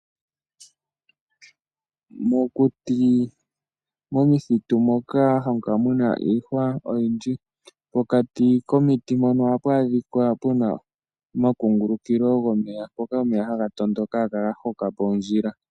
Mokuti momithitu moka hamu kala muna iihwa oyindji pokati komiti mpono ohapu adhika puna omakungulukilo gomeya mpoka omeya haga tondoka haga kala ga hoka po ondjila.